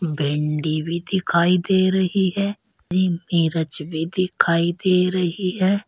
भिंडी भी दिखाई दे रही है मिरच भी दिखाई दे रही है।